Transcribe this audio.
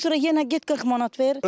Ondan sonra yenə get 40 manat ver.